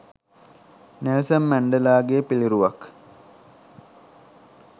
Nelson මැන්ඩෙලාගේ පිළිරුවක්